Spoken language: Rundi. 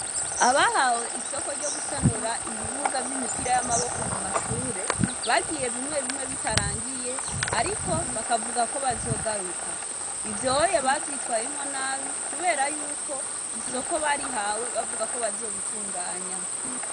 Abahawe isoko ryo gusanura ibibuga vy'imipira y'amaboko ku mashuri bagiye bimwe bimwe bitarangiye ariko bakavuga yuko bazogaruka ivyonye bavyitwayemwo nabi kubera yuko isoko barihawe bavuga ko bazobitunganya.